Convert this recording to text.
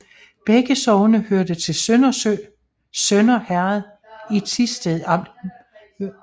Begge sogne hørte til Morsø Sønder Herred i Thisted Amt